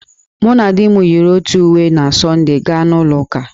Mụ na di m yiri otu udị uwe na Sọnde gaa na ụlọ ụka